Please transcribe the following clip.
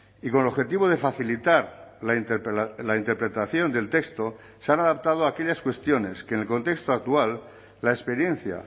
y con el objetivo de facilitar la interpretación del texto se han adaptado aquellas cuestiones que el contexto actual la experiencia